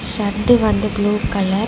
Shut வந்து blue colour .